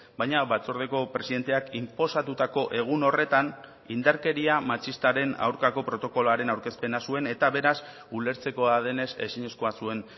baina batzordeko presidenteak inposatutako egun horretan indarkeria matxistaren aurkako protokoloaren aurkezpena zuen eta beraz ulertzekoa denez ezinezkoa zuen